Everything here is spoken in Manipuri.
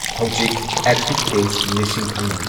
ꯍꯧꯖꯤꯛ ꯑꯦꯛꯇꯤꯚ ꯀꯦꯁ ꯂꯤꯁꯤꯡ ꯑꯃ